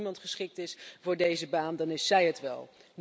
En als er iemand geschikt is voor deze baan, dan is zij het wel.